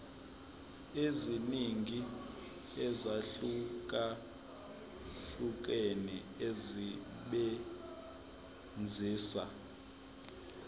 eziningi ezahlukahlukene esebenzisa